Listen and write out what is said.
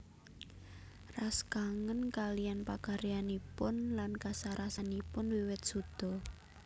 Ras kangen kaliyan pakaryanipun lan kasarasanipun wiwit suda